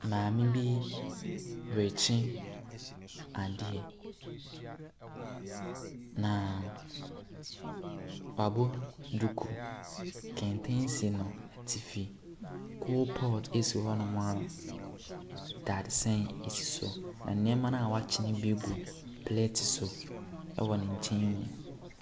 Maame bi rekye adeɛ, na wabɔ duku, kɛntɛn si n'ɛtifi, kolpɔt esi hɔ nom a dadesɛn esi so. Ɛneɛma na wakye no bi gu plate so ɛwɔ ne nkyɛn mu.